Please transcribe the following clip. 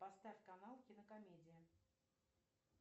поставь канал кинокомедия